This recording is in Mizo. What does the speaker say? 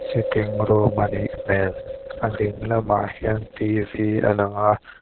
sitting room anih hmel a ding lamah hian a lang a.